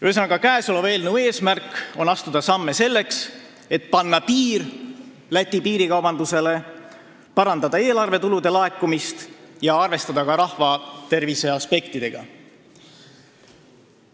Ühesõnaga, käesoleva eelnõu eesmärk on astuda samme selleks, et panna piir piirikaubandusele Lätiga, parandada eelarvetulude laekumist ja arvestada ka rahvatervise aspektidega.